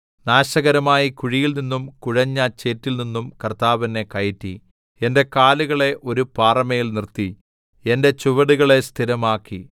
നാശകരമായ കുഴിയിൽ നിന്നും കുഴഞ്ഞ ചേറ്റിൽനിന്നും കർത്താവ് എന്നെ കയറ്റി എന്റെ കാലുകളെ ഒരു പാറമേൽ നിർത്തി എന്റെ ചുവടുകളെ സ്ഥിരമാക്കി